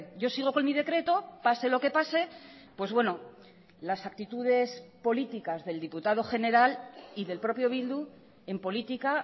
yo sigo con mi decreto pase lo que pase pues bueno las actitudes políticas del diputado general y del propio bildu en política